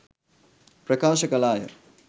ප්‍රකාශ කළාය.